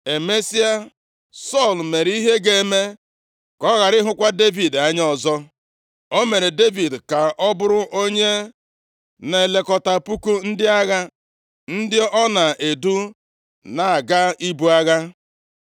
Emesịa, Sọl mere ihe ga-eme ka ọ ghara ịhụkwa Devid anya ọzọ. O mere Devid ka ọ bụrụ onye na-elekọta puku ndị agha, ndị ọ na-edu na-aga ibu agha.